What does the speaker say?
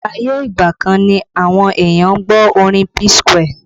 Ayé ìgbà kan ni àwọn èèyàn ń gbọ́ orin P Square